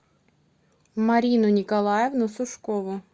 марину николаевну сушкову